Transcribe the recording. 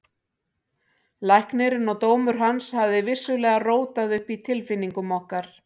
Læknirinn og dómur hans hafði vissulega rótað upp í tilfinningum okkar.